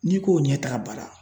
N'i k'o ɲɛtaga baara